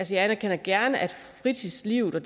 jeg anerkender gerne at fritidslivet og